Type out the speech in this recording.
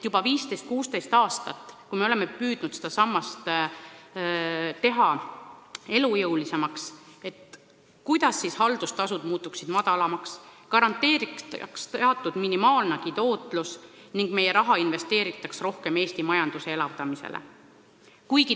Juba 15–16 aastat oleme püüdnud seda sammast teha elujõulisemaks, oleme püüdnud sinnapoole, et haldustasud muutuksid väiksemaks ja garanteeritaks minimaalnegi tootlus ning meie raha investeeritaks rohkem Eesti majanduse elavdamise sihiga.